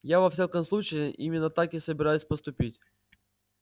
я во всяком случае именно так и собираюсь поступить